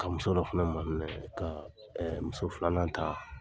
Ka muso dɔ fana ma minɛ, ka muso filanan ta.